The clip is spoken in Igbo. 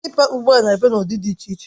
Klịpa ugbu a na-abịa n'ụdị dị iche iche